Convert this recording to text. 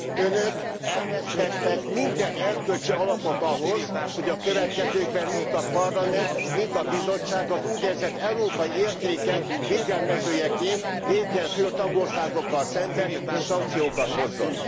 Önök elvesztettek minden erkölcsi alapot ahhoz, hogy a következőkben mind a Parlament, mind a Bizottság az úgynevezett európai értékek védelmezőjeként lépjen föl tagországokkal szemben, és szankciókat hozzon.